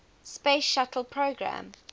space shuttle program